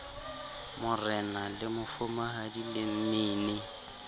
marena le mafumahadi le mmini